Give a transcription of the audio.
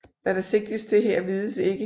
Hvad der sigtes til her vides ikke